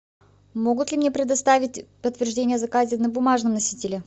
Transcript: могут ли мне предоставить подтверждение о заказе на бумажном носителе